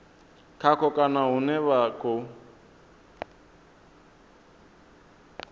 khaho kana hune vha khou